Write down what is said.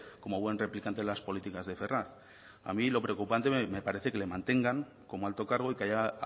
como buen replicante en las políticas de ferraz a mí lo preocupante me parece que le mantengan como alto cargo y que haya